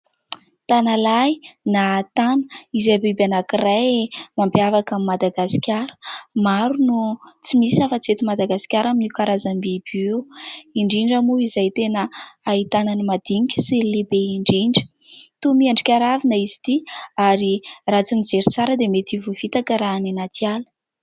Tanalahy na tana, izay biby anakiray, mampiavaka an'i Madagasikara. Maro no, tsy misy afa-tsy eto Madagasikara amin'io karazambiby io ; indrindra mo zay tena, ahitana ny madinika sy lehibe indrindra. Toa miendrika ravina izy 'ty ; ary, raha tsy mijery tsara, dia mety hovoafitaka raha any anaty ala.